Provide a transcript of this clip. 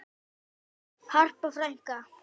Harpa frænka.